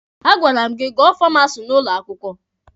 A gwara m gị gụọ Famasi n'ụlọ akwụkwọ!